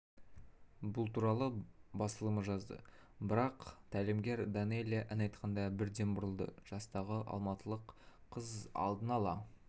бұл туралы басылымы жазды барлық тәлімгер данэлия ән айтқанда бірден бұрылды жастағы алматылық қыз алдын ала